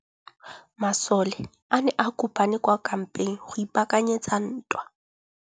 Masole a ne a kopane kwa kampeng go ipaakanyetsa ntwa.